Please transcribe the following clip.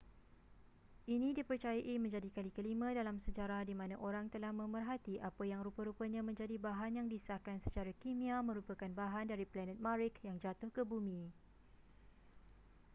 ini dipercayai menjadi kali kelima dalam sejarah di mana orang telah memerhati apa yang rupa-rupanya menjadi bahan yang disahkan secara kimia merupakan bahan dari planet marikh yang jatuh ke bumi